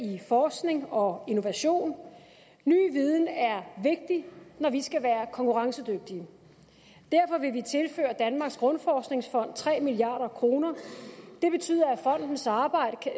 i forskning og innovation ny viden er vigtig når vi skal være konkurrencedygtige derfor vil vi tilføre danmarks grundforskningsfond tre milliard kroner det betyder at fondens arbejde